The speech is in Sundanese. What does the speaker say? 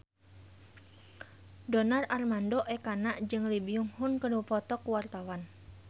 Donar Armando Ekana jeung Lee Byung Hun keur dipoto ku wartawan